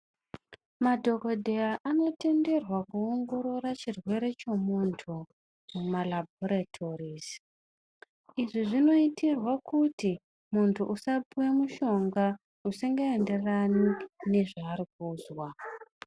Madhogodheya anotenderwa kuongorora chirwere chemuntu mamarabhoritorizi. Izvi zvinoitirwe kuti muntu usapihwe mushonga usingaenderani nezvaari kunzwa.